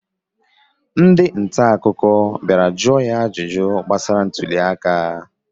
Ndị nta akụkọ bịara jụọ ya ajụjụ gbasara ntụli aka